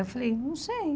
Eu falei, não sei.